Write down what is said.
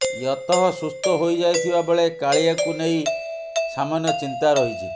ୟତଃ ସୁସ୍ଥ ହୋଇଯାଇଥିବା ବେଳେ କାଳିଆକୁ ନେଇ ସାମାନ୍ୟ ଚିନ୍ତା ରହିଛି